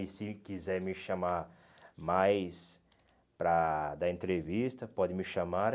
E se quiser me chamar mais para dar entrevista, pode me chamar.